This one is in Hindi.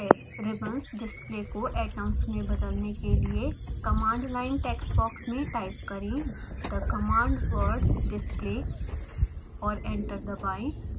ribbons डिस्प्ले को atoms में बदलने के लिए command line text box में टाइप करें: the command word display और एंटर दबाएँ